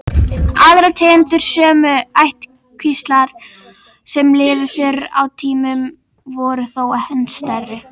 Aðrar tegundir sömu ættkvíslar sem lifðu fyrr á tímum voru þó enn stærri.